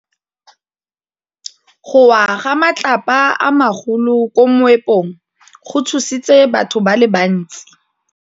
Go wa ga matlapa a magolo ko moepong go tshositse batho ba le bantsi.